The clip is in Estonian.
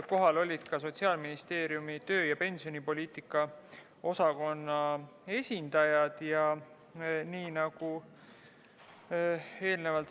Kohal olid ka Sotsiaalministeeriumi töö- ja pensionipoliitika osakonna esindajad.